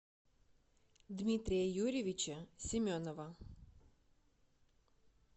дмитрия юрьевича семенова